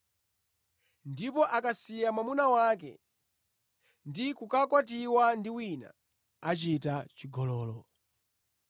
Ndipo akasiya mwamuna wake ndi kukakwatiwa ndi wina, achita chigololo.”